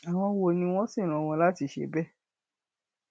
àwọn wo ni wọn sì rán wọn láti ṣe bẹẹ